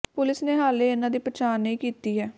police ਨੇ ਹਾਲੇ ਇਨ੍ਹਾਂ ਦੀ ਪਛਾਣ ਨਹੀਂ ਕੀਤੀ ਹੈ